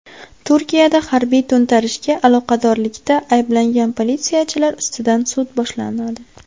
Turkiyada harbiy to‘ntarishga aloqadorlikda ayblangan politsiyachilar ustidan sud boshlanadi.